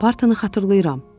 Bartını xatırlayıram.